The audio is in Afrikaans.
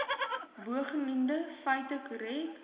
bogenoemde feite korrek